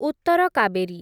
Uttar Kaveri